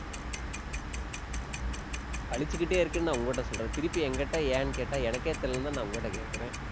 வலிச்சுக்கிட்டே இருக்குன்னு நான் உங்ககிட்ட சொல்றேன். திருப்பி என்கிட்ட ஏன்னு கேட்டா, எனக்கே தெரியலைன்னுதான் நான் உங்ககிட்ட கேட்கிறேன்